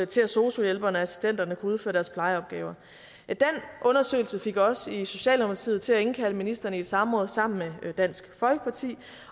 til at sosu hjælperne og sosu assistenterne kunne udføre deres plejeopgaver den undersøgelse fik os i socialdemokratiet til at indkalde ministeren i et samråd sammen med dansk folkeparti